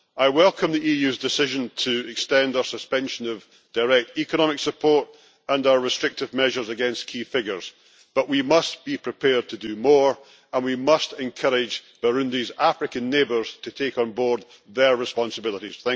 I welcome the EU's decision to extend our suspension of direct economic support and our restrictive measures against key figures, but we must be prepared to do more and we must encourage Burundi's African neighbours to take on board their responsibilities.